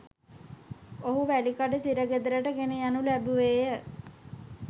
ඔහු වැලිකඩ සිරගෙදරට ගෙනයනු ලැබුවේය